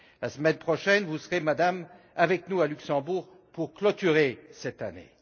La semaine prochaine vous serez, Madame, avec nous, à Luxembourg, pour clôturer cette année.